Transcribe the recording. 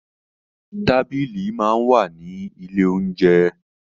Tábìlì máa ń wà ní ilé oúnjẹ.